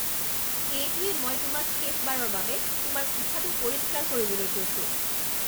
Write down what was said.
এইটোৱেই মই তোমাক শেষবাৰৰ বাবে তোমাৰ কোঠাটো পৰিষ্কাৰ কৰিবলৈ কৈছো।